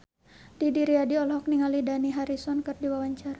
Didi Riyadi olohok ningali Dani Harrison keur diwawancara